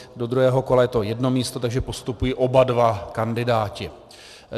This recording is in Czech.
Do druhého kola je to jedno místo, takže postupují oba dva kandidáti.